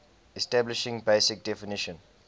establishing basic definition